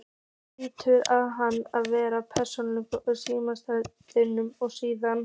Það hlýtur að hafa verið póst- og símamálastjóri að stríða!